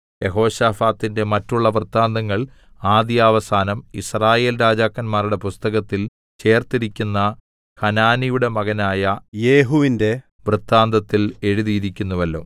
യെഹോശാഫാത്തിന്റെ മറ്റുള്ള വൃത്താന്തങ്ങൾ ആദ്യവസാനം യിസ്രായേൽ രാജാക്കന്മാരുടെ പുസ്തകത്തിൽ ചേർത്തിരിക്കുന്ന ഹനാനിയുടെ മകനായ യെഹൂവിന്റെ വൃത്താന്തത്തിൽ എഴുതിയിരിക്കുന്നുവല്ലോ